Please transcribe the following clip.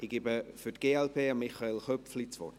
Ich erteile für die glp Michael Köpfli das Wort.